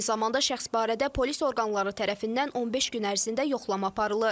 Eyni zamanda şəxs barədə polis orqanları tərəfindən 15 gün ərzində yoxlama aparılır.